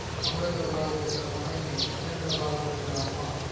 அமரெந்த்ரபாகுபலி யொட மனைவி மகெந்த்ரபாகுபலியோட அம்மா